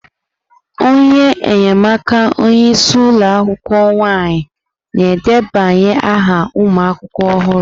Onye enyemaka onye isi ụlọ akwukwuo nwaanyị na-edebanye aha ụmụ akwụkwọ ọhụrụ.